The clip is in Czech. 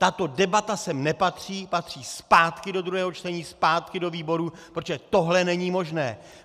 Tato debata sem nepatří , patří zpátky do druhého čtení, zpátky do výborů, protože tohle není možné!